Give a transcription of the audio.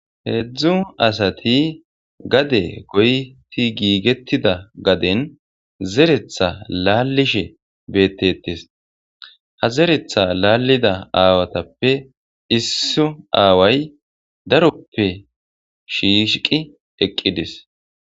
heedzdzu asati gade goyti giigettida gaden zeretha laallishe beettetes ha zeretha laallida aawatappe isso aaway daroppe shiisqi eqqidis